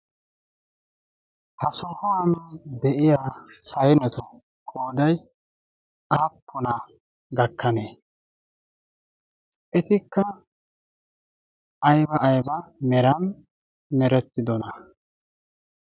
ha sohuwane de'iya saynetu qooday aappuna gakkanee etikka ayba ayba merani nerettidona